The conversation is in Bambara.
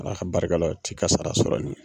Ala ka barika la, o t'i ka sara sɔrɔ.